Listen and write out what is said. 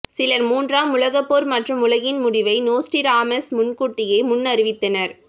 சிலர் மூன்றாம் உலகப் போர் மற்றும் உலகின் முடிவை நோஸ்டிராமாஸ் முன்கூட்டியே முன்னறிவித்தனர்